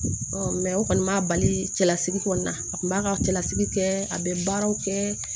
o kɔni m'a bali cɛlasiri kɔni a kun b'a ka cɛlasigi kɛ a bɛ baaraw kɛ